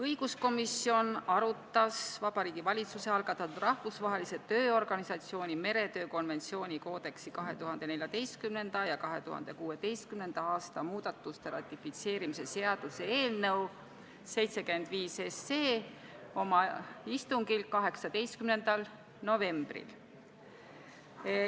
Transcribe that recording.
Õiguskomisjon arutas Vabariigi Valitsuse algatatud Rahvusvahelise Tööorganisatsiooni meretöö konventsiooni koodeksi 2014. ja 2016. aasta muudatuste ratifitseerimise seaduse eelnõu oma istungil 18. novembril.